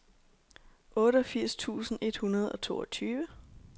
otteogfirs tusind et hundrede og toogtyve